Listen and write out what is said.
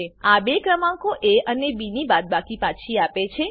આ બે ક્રમાંકો એ અને બી ની બાદબાકી પાછી આપે છે